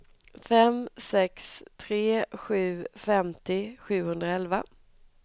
fem sex tre sju femtio sjuhundraelva